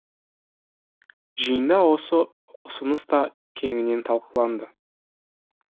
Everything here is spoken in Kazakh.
жиында осы ұсыныс та кеңінен талқыланды